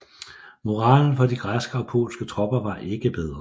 Moralen for de græske og polske tropper var ikke bedre